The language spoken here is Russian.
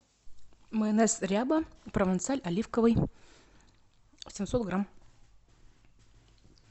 майонез ряба провансаль оливковый семьсот грамм